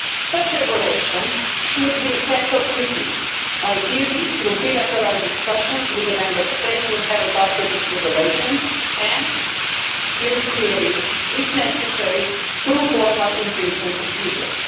Such regulations should be tackled quickly, ideally through bilateral discussions with the Member States that have adopted these regulations and hear me clearly if necessary through formal infringement procedures.